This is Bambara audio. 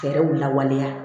Fɛɛrɛw lawaleya